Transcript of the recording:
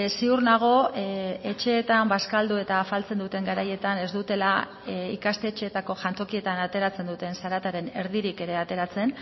ziur nago etxeetan bazkaldu eta afaltzen duten garaietan ez dutela ikastetxeetako jantokietan ateratzen duten zarataren erdirik ere ateratzen